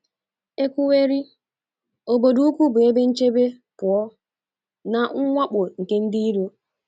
E kwuwerị, obodo ukwu bụ ebe nchebe pụọ na mwakpo nke ndị iro.